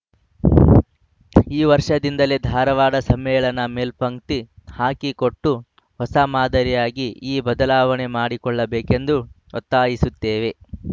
ಈ ವರ್ಷದಿಂದಲೇ ಧಾರವಾಡ ಸಮ್ಮೇಳನ ಮೇಲ್ಪಂಕ್ತಿ ಹಾಕಿಕೊಟ್ಟು ಹೊಸ ಮಾದರಿಯಾಗಿ ಈ ಬದಲಾವಣೆ ಮಾಡಿಕೊಳ್ಳಬೇಕೆಂದು ಒತ್ತಾಯಿಸುತ್ತೇವೆ